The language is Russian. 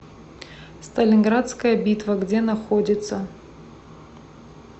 сталинградская битва где находится